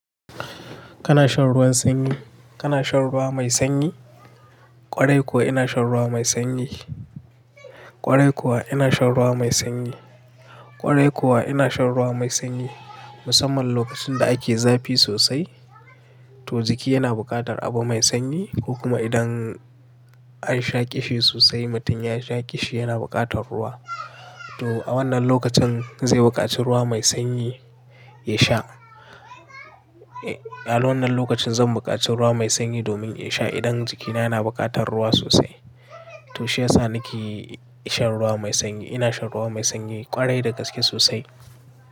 Kana shan ruwan sanyi? Kana shan ruwa mai sanyi? Kwarai kuwa ina shan ruwa mai sanyi. Kwarai kuwa ina shan ruwa mai sanyi. Kwarai kuwa ina shan ruwa mai sanyi. Musamman lokacin da ake zafi sosai to jiki yana buƙatar abu mai sanyi ko kuma idan an sha ƙishi sosai mutum ya sha ƙishi yana buƙatar ruwa. To a wannan lokacin zai buƙaci ruwa mai sanyi ya sha. A wannan lokacin zan buƙaci ruwa mai sanyi domin ya sha idan jikina yana buƙatar ruwa sosai. To shi yasa nake shan ruwa mai sanyi. Ina shan ruwa mai sanyi ƙwarai da gaske sosai.